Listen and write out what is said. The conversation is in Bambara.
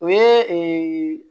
O ye ee